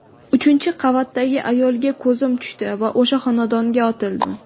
Uchinchi qavatdagi ayolga ko‘zim tushdi va o‘sha xonadonga otildim.